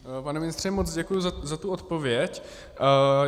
Pane ministře, moc děkuju za tu odpověď.